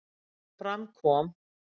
Eins og fram kom